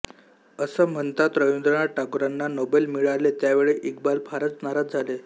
अस म्हणतात रवींद्रनाथ टागोरांना नोबेल मिळाले त्यावेळी इक्बाल फारच नाराज झाला